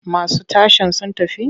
Masu tashen sun tafi?